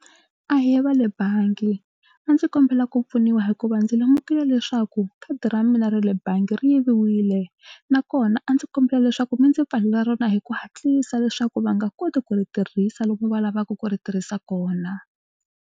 Ahee va le bangi a ndzi kombela ku pfuniwa hikuva ndzi lemukile leswaku khadi ra mina ra le bangi ri yiviwile nakona a ndzi kombela leswaku mi ndzi pfalela rona hi ku hatlisa leswaku va nga koti ku ri tirhisa lomu va lavaka ku ri tirhisa kona.